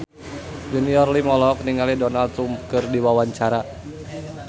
Junior Liem olohok ningali Donald Trump keur diwawancara